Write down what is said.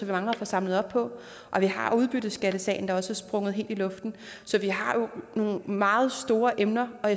mangler at få samlet op på og vi har udbytteskattesagen der også er sprunget helt i luften så vi har nogle meget store emner og